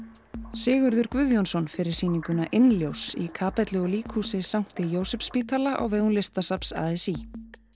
Sigurður Guðjónsson er fyrir sýninguna í kappellu og líkhúsi Jósepsspítala á vegum Listasafns a s í